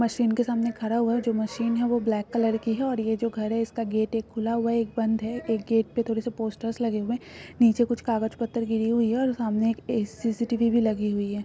मशीन के सामने खड़ा हुआ है जो मशीन है वह ब्लैक कलर की है और यह जो घर है उसका गेट है खुला हुआ एक बंद है एक गेट पर थोड़े से पोस्टर्स लगे हुए हैं नीचे कुछ कागज पत्र गिरे हुए हैं और सामने एक सी.सी.टी.वी. भी लगी हुई है।